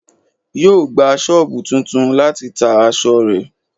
Yo gba soobu tuntun láti ta aṣọ rẹ